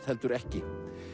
heldur ekki